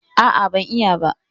A'a, ban yi ba.